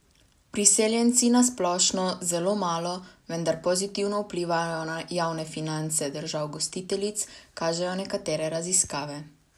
Priseljenci na splošno zelo malo, vendar pozitivno vplivajo na javne finance držav gostiteljic, kažejo nekatere raziskave.